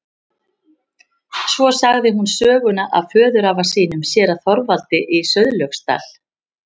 Svo sagði hún söguna af föðurafa sínum, séra Þorvaldi í Sauðlauksdal.